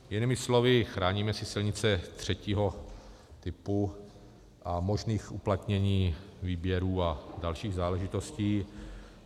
Jinými slovy chráníme si silnice třetího typu a možných uplatnění výběrů a dalších záležitostí.